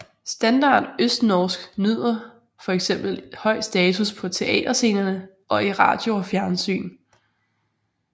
Standard østnorsk nyder for eksempel høj status på teaterscenerne og i radio og fjernsyn